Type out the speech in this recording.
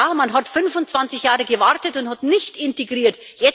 Ja, man hat 25 Jahre gewartet und nicht integriert.